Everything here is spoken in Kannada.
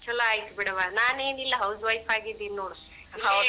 ಛಲೋ ಆಯ್ತ್ ಬಿಡವಾ. ನಾನೇನ್ ಇಲ್ಲ house wife ಆಗೀದಿನಿ ನೋಡ.